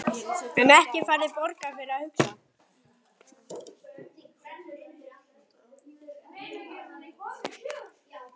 En ekki færðu borgað fyrir að hugsa?